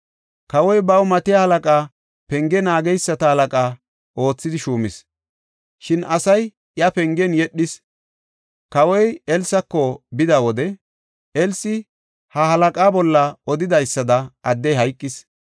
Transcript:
Kawoy baw matiya halaqaa penge naageysata halaqa oothidi shuumis; shin asay iya pengen yedhis. Kawoy Elsako bida wode, Elsi ha halaqa bolla odidaysada addey hayqis.